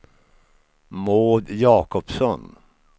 Maud Jakobsson